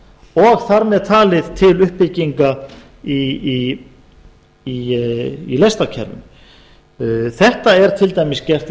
og þar með talið til uppbygginga á lestarkerfum þetta er til dæmis gert í